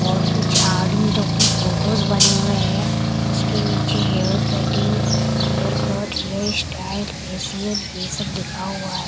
और कुछ आदमी लोगों के फोटोस बने हुए हैं जिसके नीचे hair cutting hair cut hair style facial ये सब लिखा हुआ है।